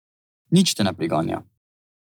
Nič te ne priganja.